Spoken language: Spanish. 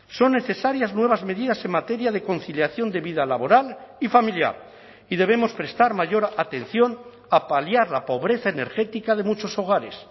son necesarias nuevas medidas en materia de conciliación de vida laboral y familiar y debemos prestar mayor atención a paliar la pobreza energética de muchos hogares